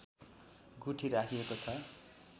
गुठी राखिएको छ